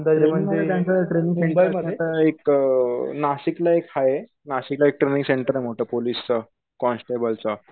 अंदाजे म्हणजे एक नाशिकला एक आहे. नाशिकला एक ट्रैनिंग सेंटरे मोठं पोलिसच, कॉन्स्टेबल च.